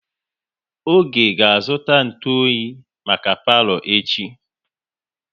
Oge ga azụta ntụ oyi maka palo echi